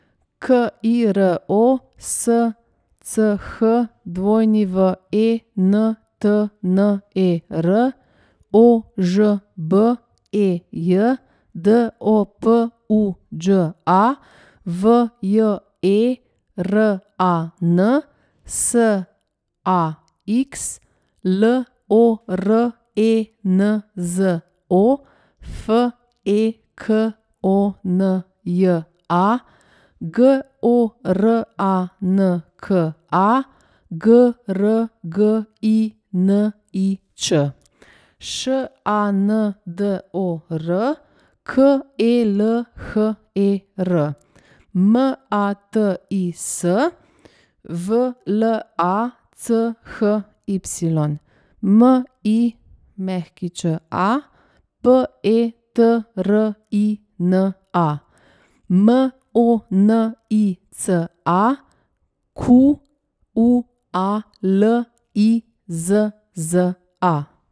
K I R O, S C H W E N T N E R; O Ž B E J, D O P U Đ A; V J E R A N, S A X; L O R E N Z O, F E K O N J A; G O R A N K A, G R G I N I Č; Š A N D O R, K E L H E R; M A T I S, V L A C H Y; M I Ć A, P E T R I N A; M O N I C A, Q U A L I Z Z A.